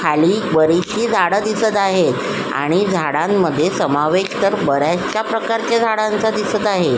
खाली बरीचशी झाड दिसत आहेत आणि झाडांमध्ये समावेश तर बऱ्याचशा प्रकारच्या झाडांचा दिसत आहे.